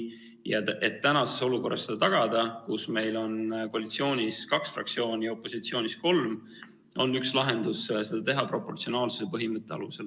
Ja et seda tagada praeguses olukorras, kus meil on koalitsioonis kaks fraktsiooni ja opositsioonis kolm, on üks lahendus seda teha proportsionaalsuse põhimõtte alusel.